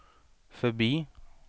förbi